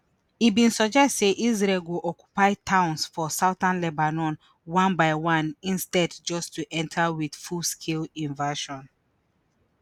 e bin suggest say israel go occupy towns for southern lebanon one by one instead just to enta wit full scale invasion